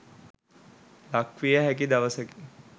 ලක්විය හැකි දවසකි.